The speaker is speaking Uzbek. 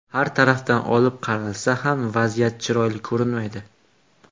Har tarafdan olib qaralsa ham vaziyat chiroyli ko‘rinmaydi.